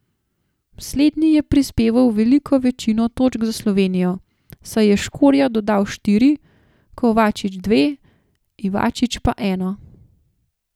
Slednji je prispeval veliko večino točk za Slovenijo, saj je Škorja dodal štiri, Kovačič dve, Ivačič pa eno.